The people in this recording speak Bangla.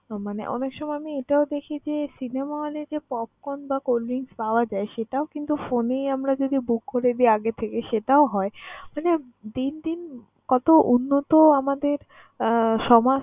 আহ মানে অনেক সময় আমি এটাও দেখি যে cinema hall এ যে popcorn বা cold drinks পাওয়া যায়, সেটাও কিন্তু phone এই আমরা book করে দেই আগে থেকে সেটাও হয়। মানে দিন দিন কত উন্নত আমাদের আহ সমাজ